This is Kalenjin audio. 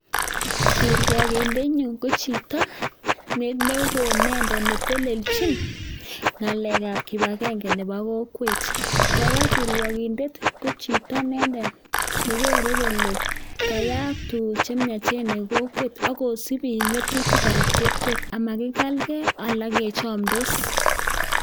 Kirwagindenyun ko chito ne oo inendet, ne teleljin ng'alekab kibagenge nebo kokwet. Kora kirwagindet ko chito inendet ne kere kole kayaak tuguk che miachen en kokwet ak kosib biik ng'atutik ab kokwet. Amatkekalge ala kechomdos.